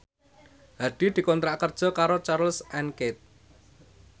Hadi dikontrak kerja karo Charles and Keith